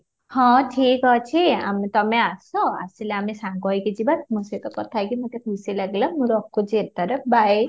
ହଁ ଠିକ ଅଛି ଆମେ ତମେ ଆସ ଆସିଲେ ଆମେ ସାଙ୍ଗ ହେଇକି ଯିବା ତୁମ ସହିତ କଥା ହେଇକି ମୋତେ ଖୁସି ଲାଗିଲା ମୁଁ ରଖୁଛି ଏଥର bye